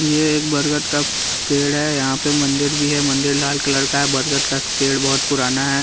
ये एक बरगत का पेड़ है यहाँ पे मंदिर भी है मंदिर लाल कलर का है बरगत का पेड़ बहुत पुराना है।